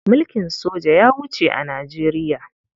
Mulkin soja ya wuce a Nijeriya.